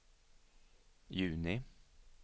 juni